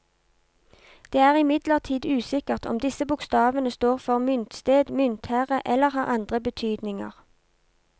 Det er imidlertid usikkert om disse bokstavene står for myntsted, myntherre eller har andre betydninger.